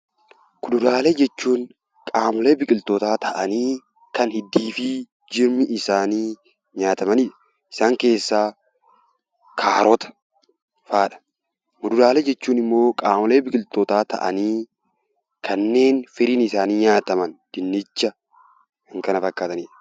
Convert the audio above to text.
Kuduraalee jechuun qaamolee biqilootaa kan hiddii fi jirmi isaanii nyaatamanidha. Isaan keessaa kaarota. Muduraalee jechuun immoo qaamolee biqilootaa ta'anii kanneen firiin isaanii nyaataman dinnicha kan kana fakkaatanidha.